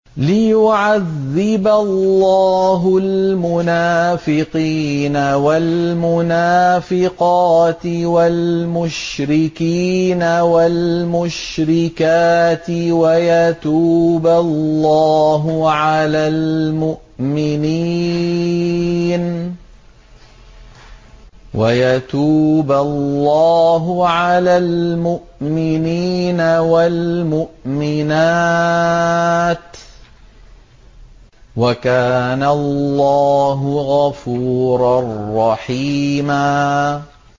لِّيُعَذِّبَ اللَّهُ الْمُنَافِقِينَ وَالْمُنَافِقَاتِ وَالْمُشْرِكِينَ وَالْمُشْرِكَاتِ وَيَتُوبَ اللَّهُ عَلَى الْمُؤْمِنِينَ وَالْمُؤْمِنَاتِ ۗ وَكَانَ اللَّهُ غَفُورًا رَّحِيمًا